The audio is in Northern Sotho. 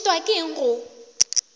o šitwa ke eng go